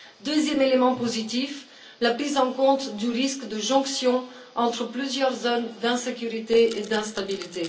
Deuxième élément positif la prise en compte du risque de jonction entre plusieurs zones d'insécurité et d'instabilité.